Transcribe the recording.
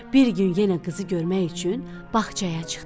Bir gün yenə qızı görmək üçün bağçaya çıxdı.